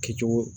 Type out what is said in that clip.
Kɛcogo